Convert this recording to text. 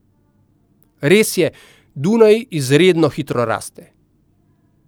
Res je, Dunaj izredno hitro raste.